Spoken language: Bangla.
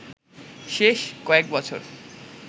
শেষ কয়েক বছর